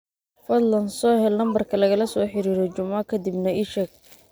fadlan soo hel lambarka lagala soo xidhiidho Juma ka dibna ii sheeg